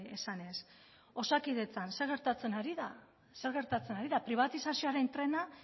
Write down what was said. esanez osakidetzan zer gertatzen ari da zer gertatzen ari da pribatizazioaren trena